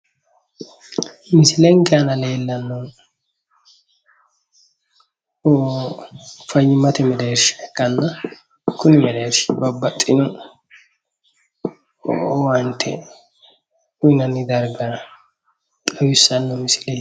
Misileke aana leellannohu fayyimmate mereersha ikkanna kuni mereershi babbaxxino owaante uyinanni dargara xawissanno misileeti